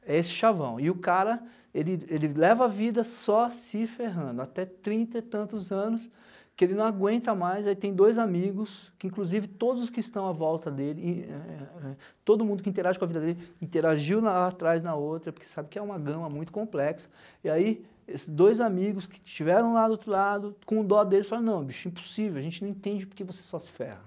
É esse chavão, e o cara, ele ele leva a vida só se ferrando, até trinta e tantos anos, que ele não aguenta mais, aí tem dois amigos, que inclusive todos que estão à volta dele, ah eh todo mundo que interage com a vida dele, interagiu lá atrás na outra, porque sabe que é uma gama muito complexa, e aí esses dois amigos que estiveram lá do outro lado, com dó dele, falaram, não bicho, impossível, a gente não entende porque você só se ferra.